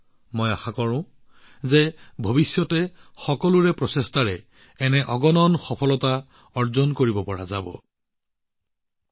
ভৱিষ্যতেও আমাৰ মহাকাশ খণ্ডই সকলোৰে প্ৰচেষ্টাৰে এনে বহু সফলতা লাভ কৰাটো কামনা কৰিলোঁ